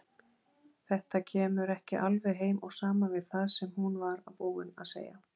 Þetta kemur ekki alveg heim og saman við það sem hún var búin að segja.